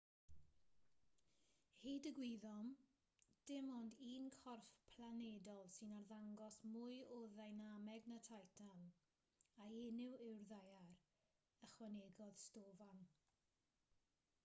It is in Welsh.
hyd y gwyddom dim ond un corff planedol sy'n arddangos mwy o ddeinameg na titan a'i enw yw'r ddaear ychwanegodd stofan